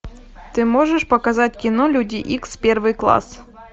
ты можешь показать кино люди икс первый класс